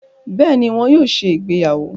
Béèni, wón yóò ṣe ìgbéyàwó